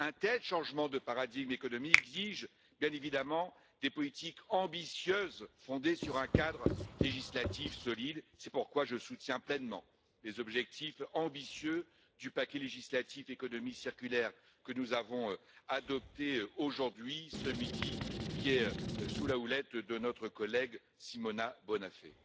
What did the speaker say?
Un tel changement de paradigme économique exige, bien évidemment, des politiques ambitieuses, fondées sur un cadre législatif solide. C'est pourquoi je soutiens pleinement les objectifs ambitieux du paquet législatif Économie circulaire que nous avons adopté aujourd'hui, ce midi, et qui est sous la houlette de notre collègue Simona Bonafè.